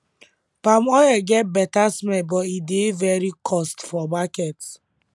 palm oil get better smell but e dey very cost for market